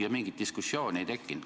" Ning mingit diskussiooni ei tekkinud.